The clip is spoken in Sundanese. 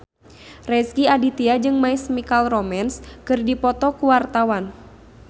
Rezky Aditya jeung My Chemical Romance keur dipoto ku wartawan